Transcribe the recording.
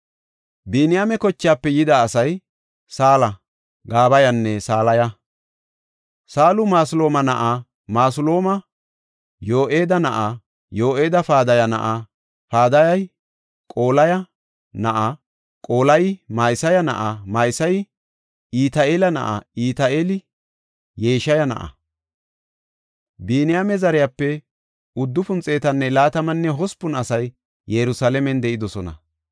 Biniyaame kochaafe yida asay Saala, Gabayanne Salaya. Saalu Masulaama na7a; Masulaami Yo7eeda na7a; Yo7eedi Padaya na7a; Padayey Qolaya na7a; Qolayi Ma7iseya na7a; Ma7iseyi Iti7eela na7a; Iti7eeli Yeshaya na7a. Biniyaame zariyape 928 asay Yerusalaamen de7idosona.